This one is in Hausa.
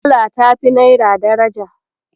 Dala tafi Naira daraja.